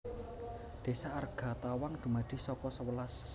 Désa Argatawang dumadi saka sewelas